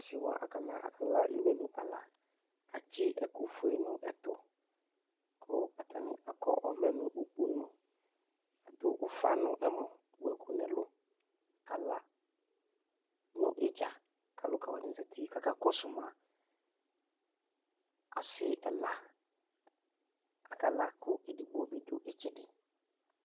asiwa akala akala imenʋ ala atsi ɛkʋƒʋe nʋ ɛtʋ kʋ atani akɔ ɔvlɛ nʋ ʋkponʋ adʋ ʋƒa nʋ ɛmɔ wʋɛkʋ nɛlʋ akala nʋ idzaa kalʋkawani zati kaka kɔsʋma asi ɛla akala kɛdigbo dʋ itsɛdi